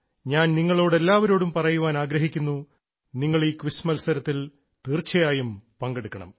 ഞാൻ നിങ്ങളോടെല്ലാവരോടും പറയാൻ ആഗ്രഹിക്കുന്നു നിങ്ങൾ ഈ ക്വിസ് മത്സരത്തിൽ തീർച്ചയായും പങ്കെടുക്കണം